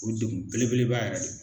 O degun belebeleba yɛrɛ